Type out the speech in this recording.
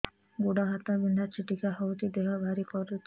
ଗୁଡ଼ ହାତ ବିନ୍ଧା ଛିଟିକା ହଉଚି ଦେହ ଭାରି କରୁଚି